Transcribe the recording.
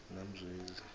namzwezi